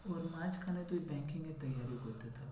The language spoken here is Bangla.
ওর মাঝখানে তুই banking এর করতে থাক।